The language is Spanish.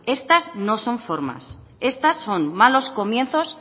estas no son formas estas son malos comienzos